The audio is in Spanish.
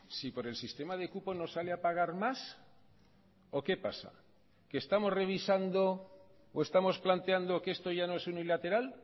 si por el sistema de cupo nos sale a pagar más o qué pasa qué estamos revisando o estamos planteando que esto ya no es unilateral